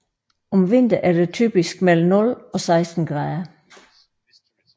Om vinteren er der typisk mellem 0 og 16 grader